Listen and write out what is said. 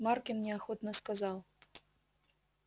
маркин неохотно сказал